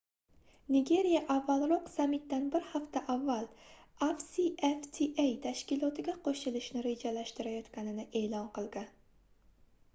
nigeriya avvalroq sammitdan bir hafta avval afcfta tashkilotiga qoʻshilishni rejalashtirganligini eʼlon qilgan